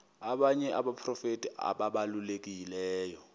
abanye abaprofeti ababalulekileyo